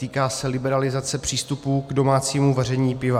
Týká se liberalizace přístupu k domácímu vaření piva.